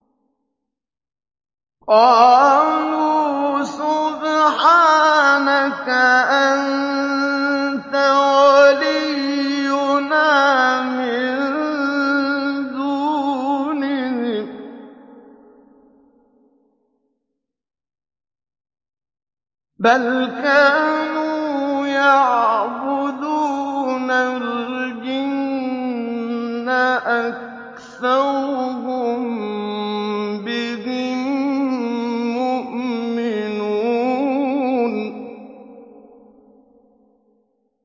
قَالُوا سُبْحَانَكَ أَنتَ وَلِيُّنَا مِن دُونِهِم ۖ بَلْ كَانُوا يَعْبُدُونَ الْجِنَّ ۖ أَكْثَرُهُم بِهِم مُّؤْمِنُونَ